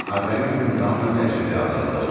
Orqanizmin qanla təchizi azalır.